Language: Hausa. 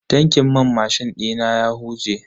Tankin man mashin dina ya huje.